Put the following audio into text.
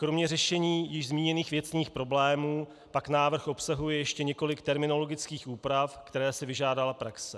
Kromě řešení již zmíněných věcných problémů pak návrh obsahuje ještě několik terminologických úprav, které si vyžádala praxe.